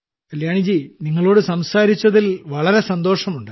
കല്യാണി ജി നിങ്ങളോട് സംസാരിച്ചതിൽ വളരെ സന്തോഷമുണ്ട്